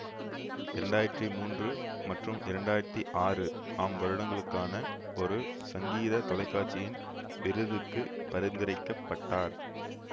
இரண்டு ஆயிரத்தி மூன்று மற்றும் இரண்டு ஆயிரத்தி ஆறு ஆம் வருடங்களுக்கான ஒரு சங்கீதத் தொலைக்காட்சியின் விருதுக்குப் பரிந்துரைக்க பட்டார்